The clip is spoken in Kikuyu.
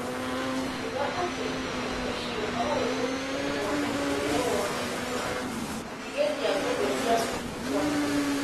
Akiuga atĩ ũndũ ũcio no ũthũkie ũhootani ũrĩa wonetwo, makĩgeria gũtheria ũteti wa Kenya.